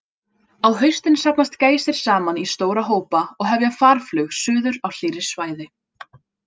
Á haustin safnast gæsir saman í stóra hópa og hefja farflug suður á hlýrri svæði.